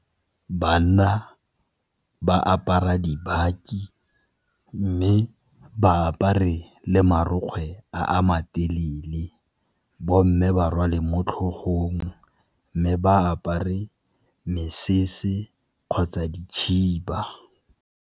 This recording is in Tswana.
Banna ba apara dibaki, mme ba apare le marokgwe a matelele. Bomme ba rwalwe mo tlhogong, mme ba apare mesese kgotsa dikhiba.